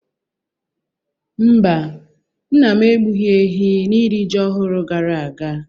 Mba, nna m egbughi ehi n'iri ji ọhụrụ gara aga.